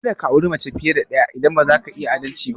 Ka da ka auri mace fiye da ɗaya idan ba za ka yi adalci ba!